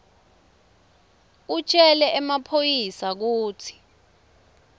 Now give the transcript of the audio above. utjele emaphoyisa kutsi